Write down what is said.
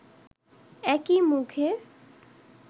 একই মুখে